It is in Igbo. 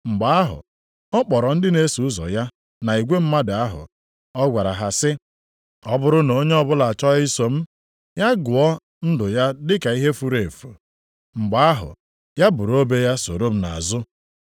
Mgbe ahụ, ọ kpọrọ ndị na-eso ụzọ ya na igwe mmadụ ahụ. Ọ gwara ha sị, “Ọ bụrụ na onye ọbụla achọọ iso m, ya gụọ ndụ ya dị ka ihe furu efu. Mgbe ahụ, ya buru obe ya soro m nʼazụ.